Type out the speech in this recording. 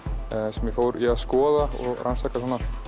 sem ég fór í að skoða og rannsaka